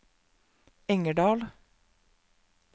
Engerdal